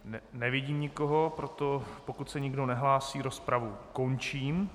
Nevidím nikoho, proto pokud se nikdo nehlásí, rozpravu končím.